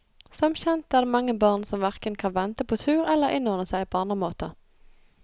Som kjent er det mange barn som hverken kan vente på tur eller innordne seg på andre måter.